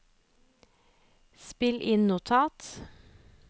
spill inn notat